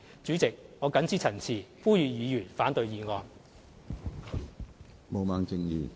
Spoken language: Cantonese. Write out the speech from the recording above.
主席，我謹此陳辭，呼籲議員反對議案。